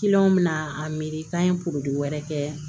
bɛna a miiri k'a ye wɛrɛ kɛ